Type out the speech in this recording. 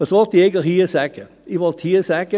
Was will ich hier eigentlich sagen?